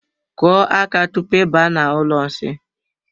Kụọ aka tupu I baa n'ụlọ nsi.